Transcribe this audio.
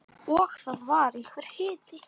Og það var einhver hiti.